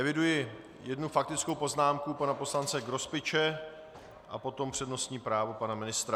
Eviduji jednu faktickou poznámku pana poslance Grospiče a potom přednostní právo pana ministra.